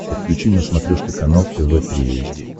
подключи на смотрешке канал тв три эйч ди